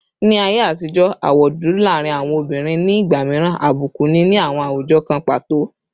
Ni aye atijo, awọ dudu laarin awọn obinrin ni igba miiran abuku ni awọn awujọ kan pato